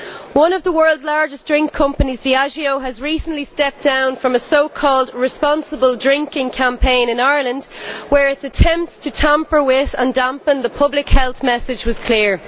One of the world's largest drink companies, Diageo, has recently stepped down from a so called responsible drinking' campaign in Ireland, where its attempts to tamper with, and dampen, the public health message were clear.